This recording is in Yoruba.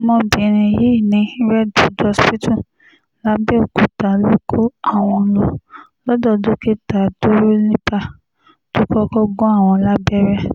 ọmọbìnrin yìí ní redwood hospital làbẹ́ọ̀kúta ló kó àwọn lọ lọ́dọ̀ dókítà dúrólíbà tó kọ́kọ́ gún àwọn lábẹ́rẹ́